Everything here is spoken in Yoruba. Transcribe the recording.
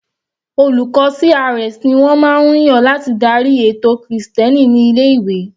Olùkọ́ CRS ni wọ́n máa ń yàn láti darí ètò krìstẹ́nì ní ilé-ìwé.